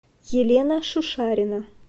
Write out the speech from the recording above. елена шушарина